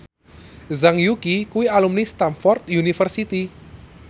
Zhang Yuqi kuwi alumni Stamford University